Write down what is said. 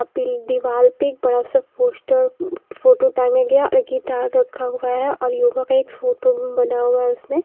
दीवाल पे एक बड़ा सा पोस्टर फोटो टांगा गया और एक गिटार रखा हुआ है और योगा का एक फोटो बना हुआ है उसमें।